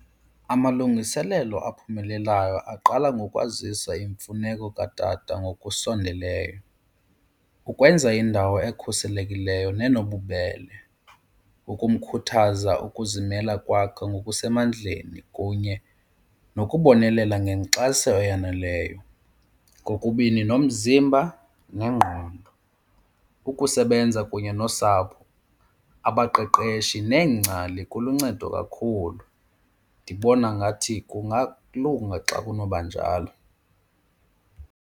Amalungiselelo aphumelelayo aqala ngokwazisa imfuneko katata ngokusondeleyo, ukwenza indawo ekhuselekileyo nenobubele, ukumkhuthaza ukuzimela kwakhe ngokusemandleni kunye nokubonelela ngenkxaso eyaneleyo kokubini nomzimba nengqondo. Ukusebenza kunye nosapho, abaqeqeshi neengcali kuluncedo kakhulu, ndibona ngathi kungalunga xa kunoba njalo.